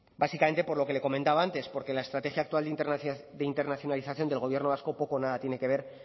básicamente por lo que le he comentado antes porque la estrategia actual de internacionalización del gobierno vasco poco o nada tiene que ver